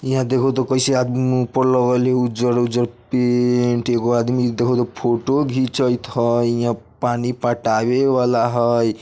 इहां देखो ते कैसे आदमी मुँह पर लगौले हई उज्जर-उज्जर पेंट एगो आदमी देखो ते फोटो घिचत हई इहां पानी पटाबे वला हई।